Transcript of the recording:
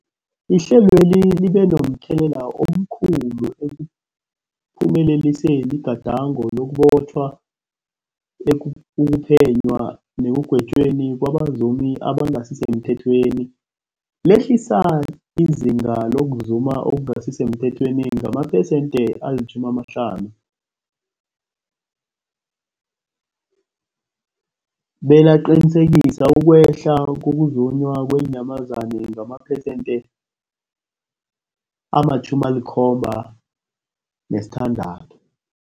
Ihlelweli libe momthelela omkhulu ekuphumeleliseni igadango lokubotjhwa, ukuphenywa nekugwetjweni kwabazumi abangasisemthethweni, lehlisa izinga lokuzuma okungasi semthethweni ngamaphesenthe-50, belaqinisekisa ukwehla kokuzunywa kweenyamazana ngamaphesenthe-76.